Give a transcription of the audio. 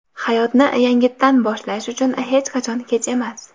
Hayotni yangitdan boshlash uchun hech qachon kech emas.